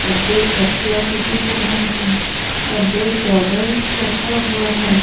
दो तकिया भी दिख रहा है और दो चादर रखा हुआ है।